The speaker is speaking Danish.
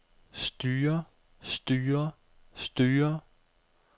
styrer styrer styrer